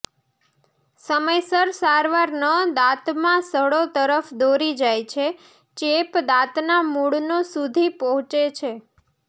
સમયસર સારવાર ન દાંતમાં સડો તરફ દોરી જાય છે ચેપ દાંતના મૂળનો સુધી પહોંચે છે